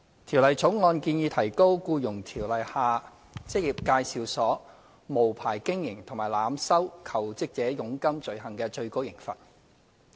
《條例草案》建議提高《僱傭條例》下職業介紹所無牌經營及濫收求職者佣金罪行的最高刑罰。